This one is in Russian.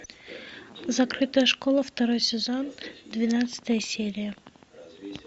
закрытая школа второй сезон двенадцатая серия